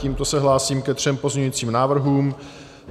Tímto se hlásím ke třem pozměňujícím návrhům.